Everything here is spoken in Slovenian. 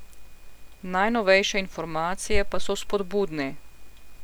Najnovejše informacije pa so vzpodbudne.